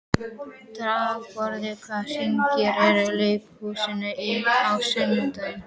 Dýrborg, hvaða sýningar eru í leikhúsinu á sunnudaginn?